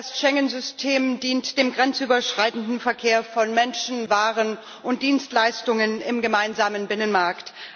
Das Schengen System dient dem grenzüberschreitenden Verkehr von Menschen, Waren und Dienstleistungen im gemeinsamen Binnenmarkt.